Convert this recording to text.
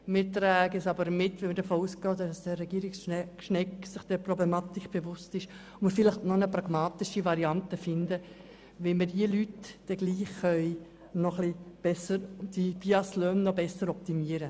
Dennoch tragen wir sie mit, weil wir davon ausgehen, dass sich Herr Regierungsrat Schnegg dieser Problematik bewusst ist und vielleicht eine pragmatische Variante findet, die BIAS-Löhne für diese Leute zu optimieren.